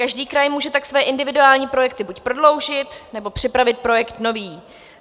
Každý kraj tak může své individuální projekty buď prodloužit, nebo připravit projekt nový.